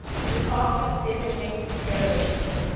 department designated terrorist